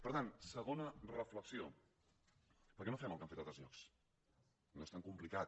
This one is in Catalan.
per tant segona reflexió per què no fem el que han fet a altres llocs no és tan complicat